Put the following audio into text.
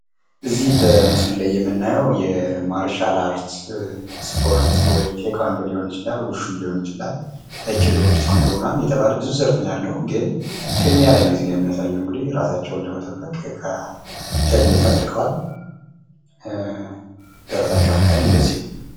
ይህ በምስሉ ላይ የምናየው የማርሻል አርት ስፖርት ወይ ተዃንዶ ሊሆን ይችላል እራሳቸዉን ለመጠበቅ ሄልሜት አድርገዋል ::